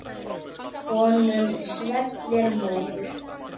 Honum svellur móður.